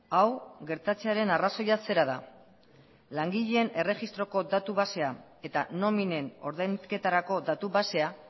hau gertatzearen arrazoia zera da langileen erregistroko datu basea eta nominen ordainketarako datu basea